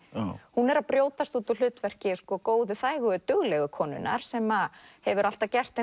hún er að brjótast út úr hlutverki góðu þægu duglegu konunnar sem hefur alltaf gert